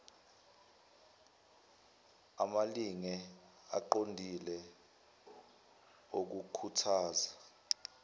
amalinge aqondile okukhuthaza